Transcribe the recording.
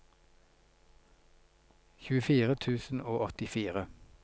tjuefire tusen og åttifire